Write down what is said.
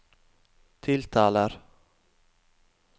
tiltaler